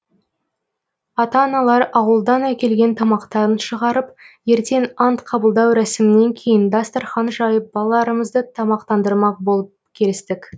ата аналар ауылдан әкелген тамақтарын шығарып ертең ант қабылдау рәсімінен кейін дастархан жайып балаларымызды тамақтандырмақ болып келістік